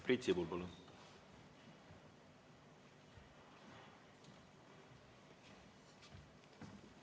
Priit Sibul, palun!